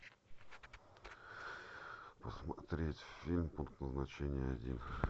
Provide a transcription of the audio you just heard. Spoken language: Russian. посмотреть фильм пункт назначения один